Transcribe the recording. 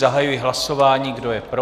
Zahajuji hlasování, kdo je pro?